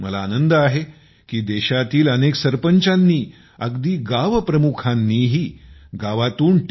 मला आनंद आहे की देशातील अनेक सरपंचांनी अगदी गावप्रमुखांनीही गावातून टी